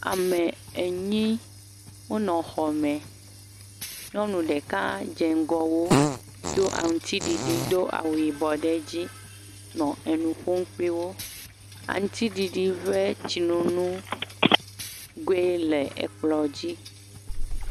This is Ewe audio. Ame enyi wo nɔ xɔ me. Nyɔnu ɖeke dze ŋgɔ wo do aŋtiɖiɖi do awu yibɔ ɖe edzi le enufom kpli wo. Aŋtiɖiɖi ƒe tsinunu goe le ekplɔ dzi.